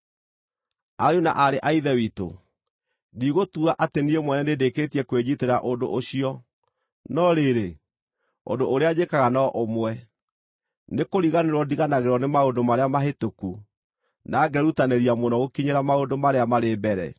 Ariũ na aarĩ a Ithe witũ, ndigũtua atĩ niĩ mwene nĩndĩkĩtie kwĩnyiitĩra ũndũ ũcio. No rĩrĩ, ũndũ ũrĩa njĩkaga no ũmwe: Nĩkũriganĩrwo ndiganagĩrwo nĩ maũndũ marĩa mahĩtũku, na ngerutanĩria mũno gũkinyĩra maũndũ marĩa marĩ mbere,